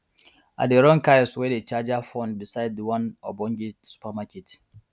i dey run kiosk whey dey charger phone beside the one ogbonge supermarket